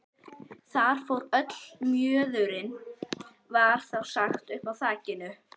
Þar fór illa mjöðurinn, var þá sagt uppi á þakinu.